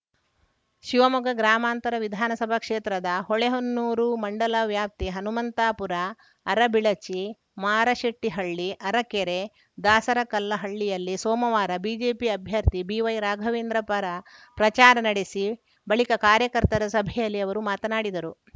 ಶಿವಮೊಗ್ಗ ಗ್ರಾಮಾಂತರ ವಿಧಾನಸಭಾ ಕ್ಷೇತ್ರದ ಹೊಳೆಹೊನ್ನೂರು ಮಂಡಲ ವ್ಯಾಪ್ತಿ ಹನುಮಂತಾಪುರ ಅರಬಿಳಚಿ ಮಾರಶೆಟ್ಟಿಹಳ್ಳಿ ಅರಕೆರೆ ದಾಸರಕಲ್ಲಹಳ್ಳಿಗಳಲ್ಲಿ ಸೋಮವಾರ ಬಿಜೆಪಿ ಅಭ್ಯರ್ಥಿ ಬಿವೈರಾಘವೇಂದ್ರ ಪರ ಪ್ರಚಾರ ನಡೆಸಿ ಬಳಿಕ ಕಾರ್ಯಕರ್ತರ ಸಭೆಯಲ್ಲಿ ಅವರು ಮಾತನಾಡಿದರು